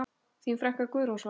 Þín frænka, Guðrún Svava.